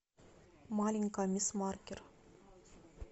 маленькая мисс маркер